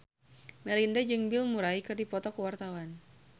Melinda jeung Bill Murray keur dipoto ku wartawan